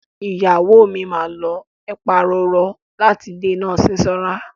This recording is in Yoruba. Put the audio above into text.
Ìyàwó mi máa lo ẹ̀pa roro láti dènà sísanra.